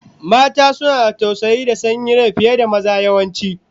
Mata suna da tausayi da sanyin rai fiye da maza, yawanci